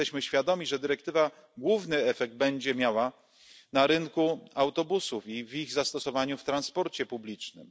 Jesteśmy świadomi, że dyrektywa główny efekt będzie miała na rynku autobusów i w ich zastosowaniu w transporcie publicznym.